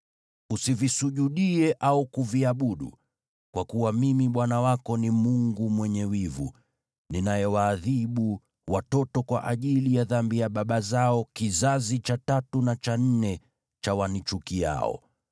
Usivisujudie wala kuviabudu; kwa kuwa Mimi, Bwana Mungu wako, ni Mungu mwenye wivu, ninayewaadhibu watoto kwa ajili ya dhambi za baba zao hadi kizazi cha tatu na cha nne cha wanichukiao,